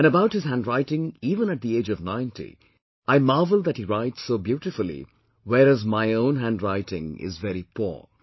And, about his handwriting even at the age of 90, I marvel that he writes so beautifully whereas my own handwriting is very poor